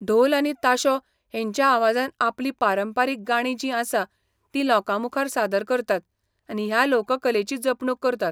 ढोल आनी ताशो हेंच्या आवाजान आपली पारंपरीक गाणी जीं आसा ती लोकां मुखार सादर करतात आनी ह्या लोककलेची जपणूक करतात.